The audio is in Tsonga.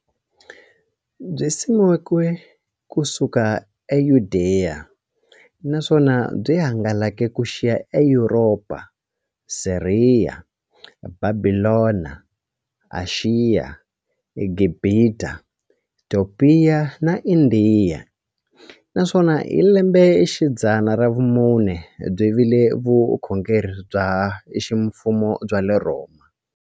Byisimekiwe ku suka eYudeya, naswona byi hangalake ku xika eYuropa, Siriya, Bhabhilona, Ashiya, Gibhita, Topiya na Indiya, naswona hi lembexidzana ra vumune byi vile vukhongeri bya ximfumo bya le Rhoma.